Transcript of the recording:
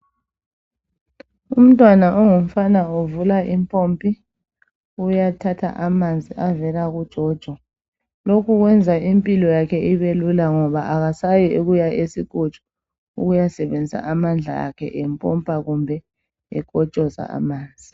Umntwana ongumfana uvula impopi uyathatha amanzi avela kujojo lokhu kweza impilo yakhe ibelula ngoba akasayi ukuya esinkotsho ukuya sebenzisi amandla akhe empopa kumbe enkotshoza amanzi.